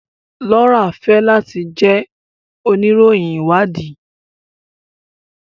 Laura fẹ lati jẹ